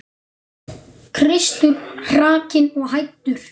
Kristur hrakinn og hæddur.